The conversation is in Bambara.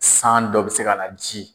San dɔ bɛ se ka na ji